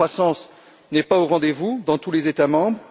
La croissance n'est pas au rendez vous dans tous les États membres.